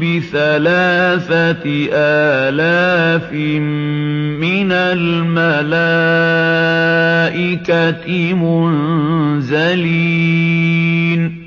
بِثَلَاثَةِ آلَافٍ مِّنَ الْمَلَائِكَةِ مُنزَلِينَ